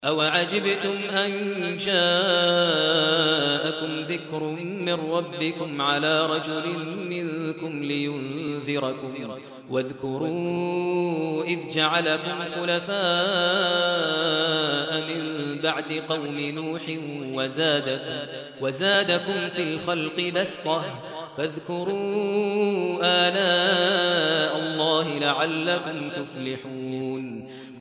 أَوَعَجِبْتُمْ أَن جَاءَكُمْ ذِكْرٌ مِّن رَّبِّكُمْ عَلَىٰ رَجُلٍ مِّنكُمْ لِيُنذِرَكُمْ ۚ وَاذْكُرُوا إِذْ جَعَلَكُمْ خُلَفَاءَ مِن بَعْدِ قَوْمِ نُوحٍ وَزَادَكُمْ فِي الْخَلْقِ بَسْطَةً ۖ فَاذْكُرُوا آلَاءَ اللَّهِ لَعَلَّكُمْ تُفْلِحُونَ